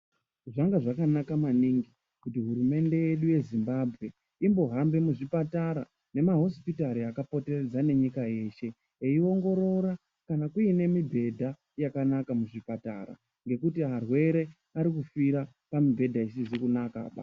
Zvanga zvakanaka maningi kuti hurumende yedu yezimbabwe inohamba muzvipatara nemahosipitari akapoteredzana nenyika yeshe eingorora kana kuine mibhedha yakanaka muzvipatara ngekuti zvirwere Ari kufira pamubhedha isizi kunaka.